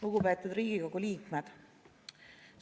Lugupeetud Riigikogu liikmed!